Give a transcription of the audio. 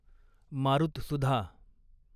मारुतसुधा